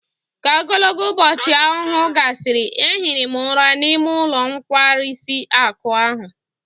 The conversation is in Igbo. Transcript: Ka ogologo ubochi ahuhu gasiri, ehiri m ura n'ime ulo nkwarisi akụ ahụ